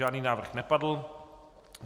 Žádný návrh nepadl.